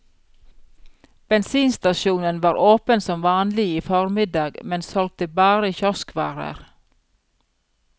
Bensinstasjonen var åpen som vanlig i formiddag, men solgte bare kioskvarer.